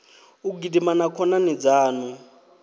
u gidima na khonani dzaṋu